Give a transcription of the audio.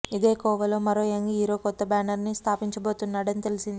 ఇదే కోవలో మరో యంగ్ హీరో కొత్త బ్యానర్ని స్థాపించబోతున్నాడని తెలిసింది